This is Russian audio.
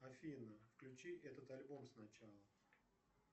афина включи этот альбом сначала